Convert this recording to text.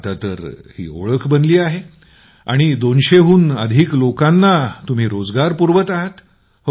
आता तर ही ओळख बनली आहे आणि २०० हून अधिक लोकांना रोजगार पुरवत आहात